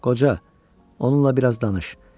Qoca, onunla biraz danış.